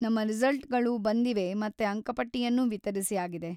ನಮ್ಮ ರಿಸಲ್ಟ್‌ಗಳು ಬಂದಿವೆ ಮತ್ತೇ ಅಂಕಪಟ್ಟಿಯನ್ನೂ ವಿತರಿಸಿ ಆಗಿದೆ.